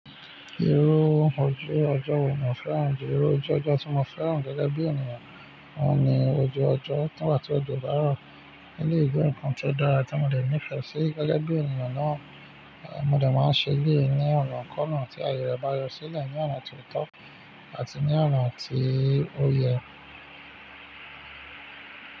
Irú ojú ọjọ́ wo mo fẹ́ràn jù? Irú ojú ọjọ́ tí mo fẹ́ràn gẹ́gẹ́ bí ènìyàn, òun ni ojú ọjọ́ nígbà tí òjò bá rọ̀. Eleyi je ǹkan tó dára tí mo dè nífẹ̀ẹ́ sí gẹ́gẹ́ bí ènìyàn náà, mo dè máa ṣe léè ní ọ̀nà kona tí ayẹyẹ bá yọ sílẹ̀, ní ọ̀nà tó tọ́ àti ní ọ̀nà tí ó yẹ.